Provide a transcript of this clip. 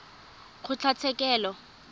kgotlatshekelo